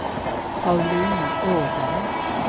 Paulina Åberg